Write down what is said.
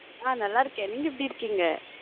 ஹம் நல்ல இருக்கேன் நீங்க எப்பிடி இருக்கிங்க?